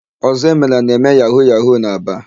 Ọzọemena na-eme yahu-yahu n'Aba.